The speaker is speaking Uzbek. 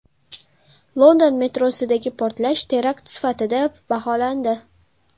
London metrosidagi portlash terakt sifatida baholandi.